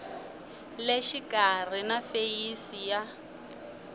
le xikarhi na feyisi ya